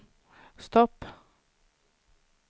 stopp